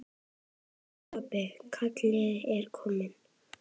Elsku pabbi, kallið er komið.